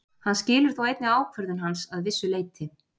Hann skilur þó einnig ákvörðun hans að vissu leyti.